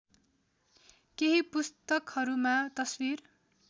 केही पुस्तकहरूमा तस्बिर